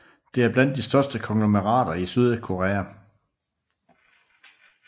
Det er blandt de største konglomerater i Sydkorea